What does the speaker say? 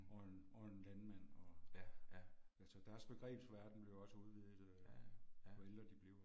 Og en og en landmand og. Altså deres begrebsverden bliver også udviddet jo ældre de bliver